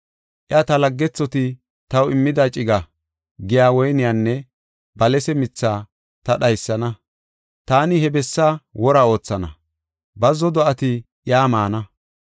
Iya, ‘Ta laggethoti taw immida ciga’ giya woyniyanne balase mithaa ta dhaysana; taani he bessa wora oothana; bazzo do7ati iya maana.